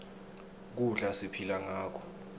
kudla siphila ngako